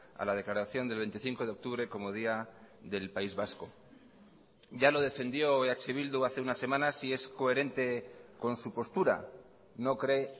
a la declaración del veinticinco de octubre como día del país vasco ya lo defendió eh bildu hace unas semanas y es coherente con su postura no cree